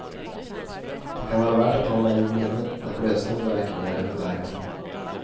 Det kan vara värt att hålla i minnet när blötsnön vräker ner över vägarna.